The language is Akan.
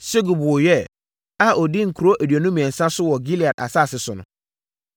Segub woo Yair a ɔdii nkuro aduonu mmiɛnsa so wɔ Gilead asase so no.